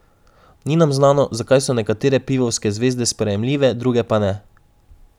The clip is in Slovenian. Ni nam znano, zakaj so nekatere pivovske zvezde sprejemljive, druge pa ne.